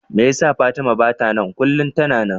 Me yasa Fatima bata nan? kullum tana nan.